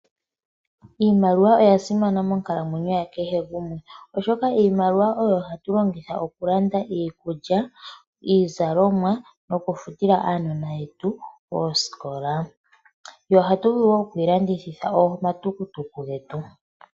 IImaliwa oya simana monkalamwenyo yakehe gumwe oshoka iimaliwa oyo hatu longitha okulanda iikulya, iizalomwa nokufuta oosikola. Ohatu vulu wo okuyi landithitha omatukutuku getu.